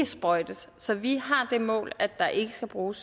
sprøjtes så vi har det mål at der ikke skal bruge